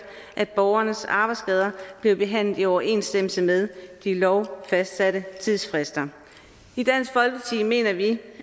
at borgernes arbejdsskader bliver behandlet i overensstemmelse med de lovfastsatte tidsfrister i dansk folkeparti mener vi